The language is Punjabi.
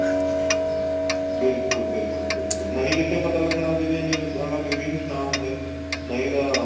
ਬਿਲਕੁਲ ਬਿਲਕੁਲ ਬਿਲਕੁਲ ਨਹੀਂ ਕਿੱਥੇ ਪਤਾ ਲੱਗਣਾ ਸੀ ਜੇ news media ਚ ਨਾ ਆਉਂਦੇ ਨਹੀਂ ਤਾਂ